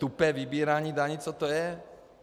Tupé vybírání daní, co to je?